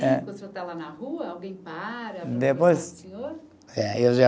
Quando o senhor está lá na rua, alguém para para perguntar ao senhor? Depois. Eh, eu já